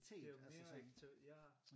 Det jo mere aktiv ja